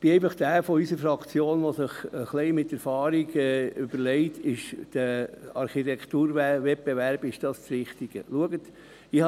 Ich bin einfach einer derjenigen unserer Fraktion, der sich fragt, ob ein Architekturwettbewerb das Richtige sei.